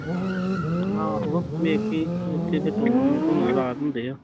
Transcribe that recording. ਆਹੋ ਮੈਕੀ ਇੱਥੇ ਤੇ tournament ਹੁਣਾ ਰਾਤ ਨੂ ਡਏ ਆ